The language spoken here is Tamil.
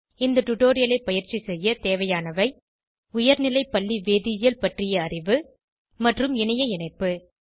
இந்த டுடோரியலை பயிற்சி செய்ய தேவையானவை உயர்நிலை பள்ளி வேதியியல் பற்றிய அறிவு மற்றும் இணைய இணைப்பு